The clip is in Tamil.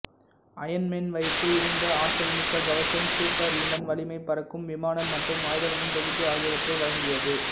அயன் மேன் வைத்து இருந்த ஆற்றல்மிக்க கவசம் சூப்பர்ஹுமன் வலிமை பறக்கும் விமானம் மற்றும் ஆயுதங்களின் தொகுப்பு ஆகியவற்றை வழங்கியது